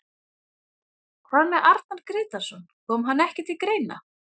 Hvað með Arnar Grétarsson, kom hann ekki til greina?